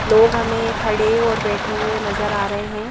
लोग हमें खड़े और बैठे हुए नजर आ रहे हैं ।